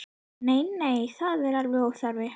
Nei, nei, það er alveg óþarfi.